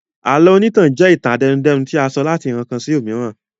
Àlọ́ onítàn jẹ́ ìtàn àtẹnudẹ́nu tí a sọ láti ìran kan sí omiran